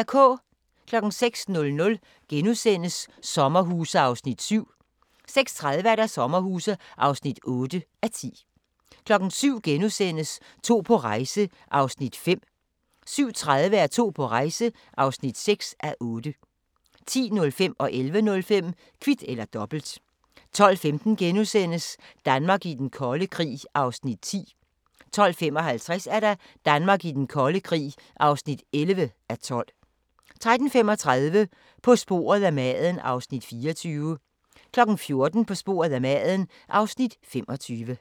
06:00: Sommerhuse (7:10)* 06:30: Sommerhuse (8:10) 07:00: To på rejse (5:8)* 07:30: To på rejse (6:8) 10:05: Kvit eller Dobbelt 11:05: Kvit eller Dobbelt 12:15: Danmark i den kolde krig (10:12)* 12:55: Danmark i den kolde krig (11:12) 13:35: På sporet af maden (Afs. 24) 14:00: På sporet af maden (Afs. 25)